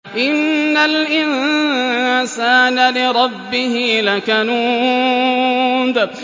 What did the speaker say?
إِنَّ الْإِنسَانَ لِرَبِّهِ لَكَنُودٌ